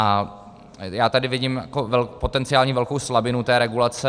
A já tady vidím potenciální velkou slabinu té regulace.